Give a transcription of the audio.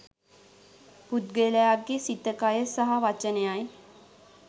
පුද්ගලයාගේ සිත, කය, සහ වචනයයි.